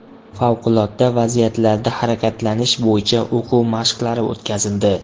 Favqulodda vaziyatlarda harakatlanish bo‘yicha o‘quv mashqlari o‘tkazildi.